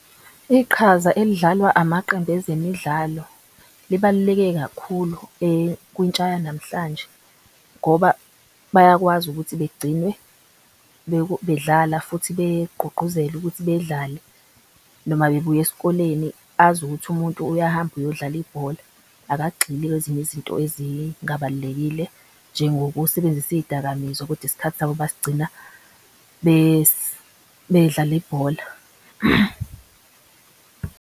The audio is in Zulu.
Iqhaza elidlalwa amaqembu ezemidlalo libaluleke kakhulu kuntsha yanamhlanje ngoba bayakwazi ukuthi begcine bedlala. Futhi begqugquzela ukuthi bedlale noma bebuya eskoleni azi ukuthi umuntu uyahamba eyodlala ibhola. Akagxili kwezinye izinto ezingabalulekile njengo kusebenzisa izidakamizwa. Kodwa isikhathi sabo basigcina bedlala ibhola.